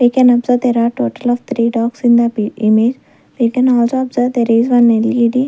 we can observe there are total of three dogs in the we can also observe there is one L_E_D.